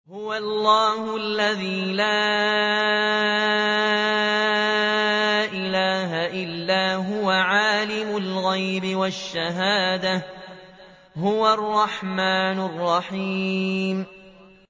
هُوَ اللَّهُ الَّذِي لَا إِلَٰهَ إِلَّا هُوَ ۖ عَالِمُ الْغَيْبِ وَالشَّهَادَةِ ۖ هُوَ الرَّحْمَٰنُ الرَّحِيمُ